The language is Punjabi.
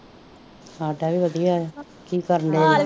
ਸਾਡਾ ਵੀ ਵਧਿਆ ਆ ਕਿ ਕਰਨ ਡੇ